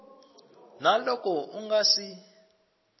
na loko u nga si